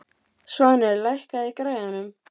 Svanur, lækkaðu í græjunum.